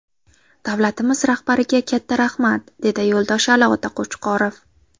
Davlatimiz rahbariga katta rahmat”, dedi Yo‘ldoshali ota Qo‘chqorov.